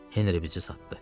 Henri bizi satdı.